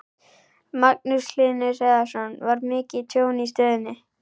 Magnús Hlynur Hreiðarsson: Var mikið tjón í stöðinni?